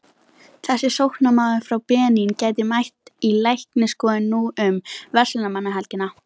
Þessi sóknarmaður frá Benín gæti mætt í læknisskoðun nú um verslunarmannahelgina.